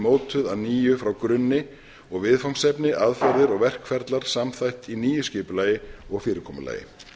mótuð að nýju frá grunni og viðfangsefni aðferðir og verkferlar samþætt í nýju skipulagi og fyrirkomulagi